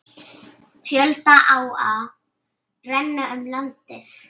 Fjölda áa renna um landið.